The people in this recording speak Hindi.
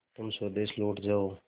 तुम स्वदेश लौट जाओ